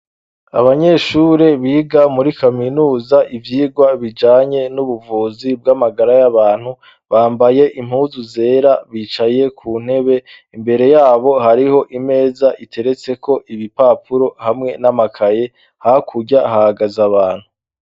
Abanyeshure biga muri Kaminuza ibyigwa bijanye n'ubuvuzi bw'amagara y'abantu bambaye impuzu zera bicaye ku ntebe imbere yabo hariho imeza iteretse ko ibipapuro hamwe n'amakaye hakurya hagaze abantu.